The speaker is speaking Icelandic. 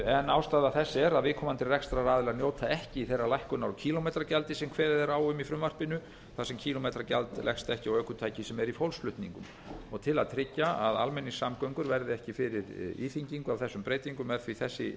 en ástæða þess er að viðkomandi rekstraraðilar njóta ekki þeirrar lækkunar á kílómetragjaldi sem kveðið er á um í frumvarpinu þar sem kílómetragjald leggst ekki á ökutæki sem er í fólksflutningum til að tryggja að almenningssamgöngur verði ekki fyrir íþyngingu af þessum breytingum er því þessi leið farin ég held